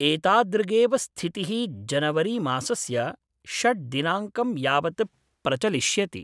एतादृगेव स्थिति: जनवरीमासस्य षट् दिनाङ्कम् यावत् प्रचलिष्यति।